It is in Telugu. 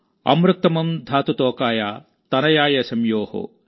అమృక్తమం ధాత్ తోకాయ్ తనయాయ్ శం యోః|